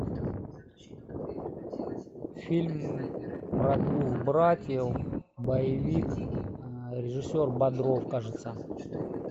фильм про двух братьев боевик режиссер бодров кажется